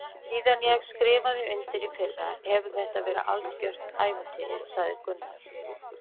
Síðan ég skrifaði undir í fyrra hefur þetta verið algjört ævintýri sagði Gunnar.